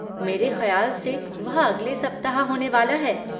मेरे खयाल से वह अगले सप्ताह होने वाला है।